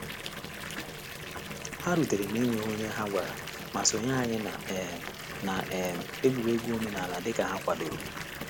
Ha rutere na-enweghị onye ha gwara, ma sonye anyị na um na um egwuregwu omenala dị ka ha kwadoro.